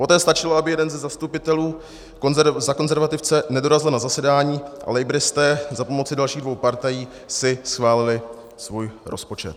Poté stačilo, aby jeden ze zastupitelů za konzervativce nedorazil na zasedání, a labouristé za pomoci dalších dvou partají si schválili svůj rozpočet.